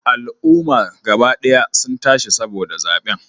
Al'umma gaba daya sun tashi saboda zaben